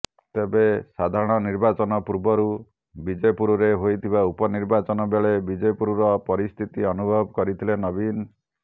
ତେବେ ସାଧାରଣ ନିର୍ବାଚନ ପୂର୍ବରୁ ବିଜେପୁରରେ ହୋଇଥିବା ଉପନିର୍ବାଚନ ବେଳେ ବିଜେପୁରର ପରିସ୍ଥିତି ଅନୁଭବ କରିଥିଲେ ନବୀନ